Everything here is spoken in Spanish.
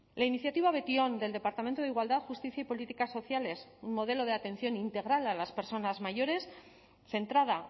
la iniciativa betion del departamento de igualdad justicia y políticas sociales un modelo de atención integral a las personas mayores centrada